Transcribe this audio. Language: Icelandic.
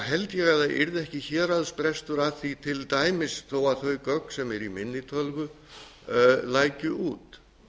held ég að það yrði ekki héraðsbrestur að því til dæmis þó að þau gögn sem eru í minni tölvu lækju út